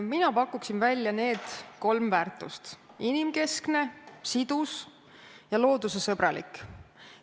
Mina pakun välja need kolm väärtust: inimkesksus, sidusus ja loodusesõbralikkus.